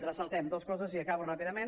ressaltem dos coses i acabo ràpidament